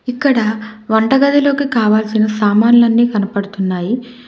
ఇక్కడ వంటగదిలోకి కావాల్సిన సామాన్లన్నీ కనపడుతున్నాయి.